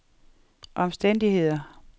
omstændigheder